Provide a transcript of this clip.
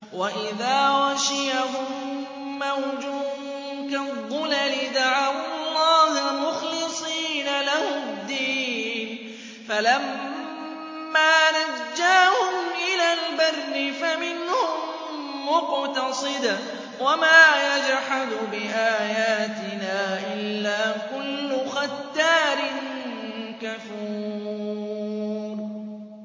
وَإِذَا غَشِيَهُم مَّوْجٌ كَالظُّلَلِ دَعَوُا اللَّهَ مُخْلِصِينَ لَهُ الدِّينَ فَلَمَّا نَجَّاهُمْ إِلَى الْبَرِّ فَمِنْهُم مُّقْتَصِدٌ ۚ وَمَا يَجْحَدُ بِآيَاتِنَا إِلَّا كُلُّ خَتَّارٍ كَفُورٍ